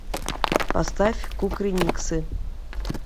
поставь кукрыниксы